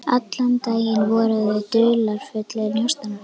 Allan daginn voru þau dularfullir njósnarar.